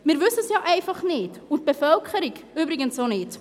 Wir wissen es ja einfach nicht und die Bevölkerung übrigens auch nicht.